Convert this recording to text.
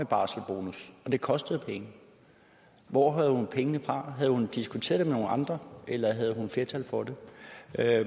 barselsbonus og det kostede penge hvor havde hun pengene fra havde hun diskuteret det med nogle andre eller havde hun flertal for det